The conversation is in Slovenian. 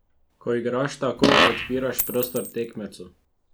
Ko igraš tako, odpiraš prostor tekmecu.